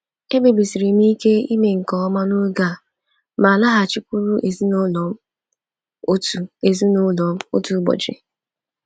Ekpebisiri m ike ime nke ọma n'oge a ma laghachikwuru ezinụlọ m otu ezinụlọ m otu ụbọchị.